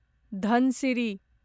Dhansiri